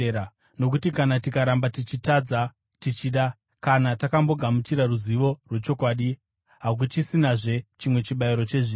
Nokuti kana tikaramba tichitadza tichida, kana takambogamuchira ruzivo rwechokwadi, hakuchisinazve chimwe chibayiro chezvivi,